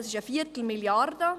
Das ist eine Viertelmilliarde.